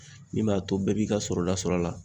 Min b'a to bɛɛ b'i ka sɔrɔ ta sɔrɔ a la.